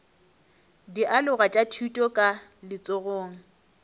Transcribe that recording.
dialoga tša thuto ka letsogong